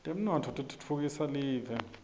temnotfo titfutfukisa live